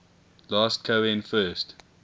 last cohen first